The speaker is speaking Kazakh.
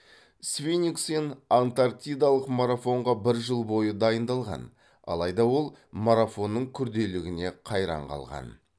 свенингсен антарктидалық марафонға бір жыл бойы дайындалған алайда ол марафонның күрделігіне қайран қалған